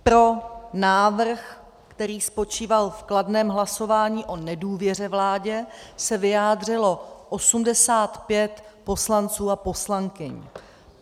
Pro návrh, který spočíval v kladném hlasování o nedůvěře vládě, se vyjádřilo 85 poslanců a poslankyň.